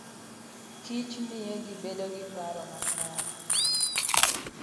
Kich miyo ji bedo gi paro makare.